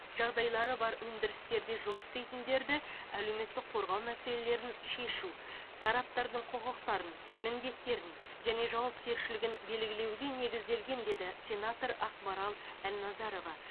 жағдайлары бар өндірістерде жұмыс істейтіндерді әлеуметтік қорғау мәселелерін шешу тараптардың құқықтарын міндеттерін және жауапкершілігін белгілеуге негізделген деді сенатор ақмарал әлназарова